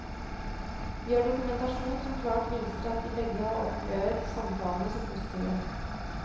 Vi har dokumentasjon som klart viser at de begge har opplevet samtalene som positive.